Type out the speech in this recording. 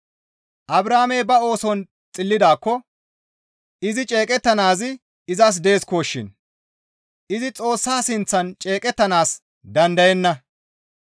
Abrahaamey ba ooson xillidaakko izi ceeqettanaazi izas deesikoshin; izi Xoossa sinththan ceeqettanaas dandayenna.